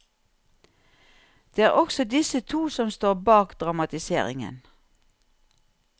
Det er også disse to som står bak dramatiseringen.